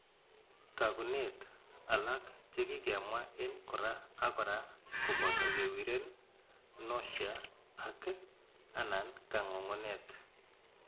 Taakunet alak chekikemwa en kora ak kora koboto kewiren, nausea, ak/anan kangungunet.